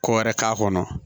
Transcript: Ko wɛrɛ k'a kɔnɔ